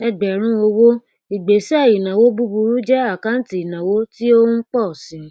ẹgbẹrún owó ìgbésẹ ìnáwó búburú jẹ àkáǹtì ìnáwó tí ó ń pọ si